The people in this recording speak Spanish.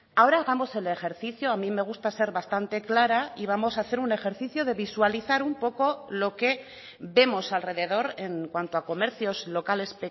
ahora hagamos el ejercicio a mí me gusta ser bastante clara y vamos a hacer un ejercicio de visualizar un poco lo que vemos alrededor en cuanto a comercios locales